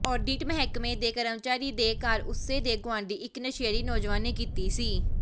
audit ਮਹਿਕਮੇ ਦੇ ਕਰਮਚਾਰੀ ਦੇ ਘਰ ਉਸੇ ਦੇ ਗੁਆਂਢੀ ਇੱਕ ਨਸ਼ੇੜੀ ਨੌਜਵਾਨ ਨੇ ਕੀਤੀ ਸੀ